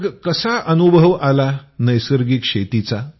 मग कसा अनुभव आला नैसर्गिक शेतीचा